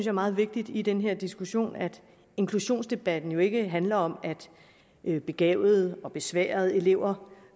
er meget vigtigt i den her diskussion at inklusionsdebatten jo ikke handler om at begavede og besværede elever